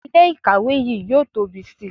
Ilé ìkàwé yìí yóò tóbi sí i